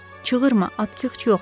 Çığırma, Atkiç yoxdur.